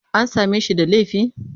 An same shi da laifi?